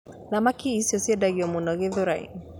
Thamaki icio ciendagio mũno Gĩthũrai